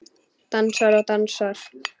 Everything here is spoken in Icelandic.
Dansar og dansar.